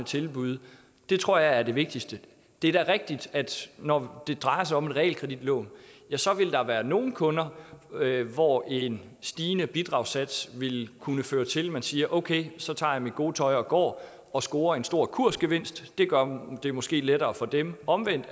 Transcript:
tilbyde det tror jeg er det vigtigste det er da rigtigt at når det drejer sig om realkreditlån vil der være nogle kunder hvor en stigende bidragssats vil kunne føre til at man siger okay så tager jeg mit gode tøj og går og scorer en stor kursgevinst det gør det måske lettere for dem omvendt